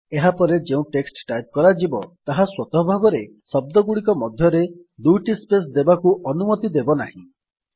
ଏହାପରେ ଯେଉଁ text type କରାଯିବ ତାହା ସ୍ୱତଃ ଭାବରେ ଶବ୍ଦଗୁଡିକ ମଧ୍ୟରେ ଦୁଇଟି ସ୍ପେସ୍ ଦେବାକୁ ଅନୁମତି ଦେବ ନାହିଁ